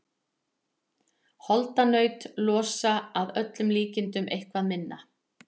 Holdanaut losa að öllum líkindum eitthvað minna.